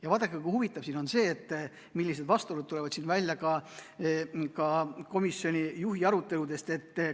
Ja vaadake, kui huvitav siin on see, millised vastuolud tulevad välja ka komisjoni juhi.